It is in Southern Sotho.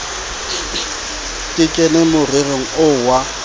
ke kene morerong oo wa